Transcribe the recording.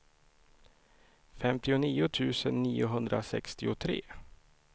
femtionio tusen niohundrasextiotre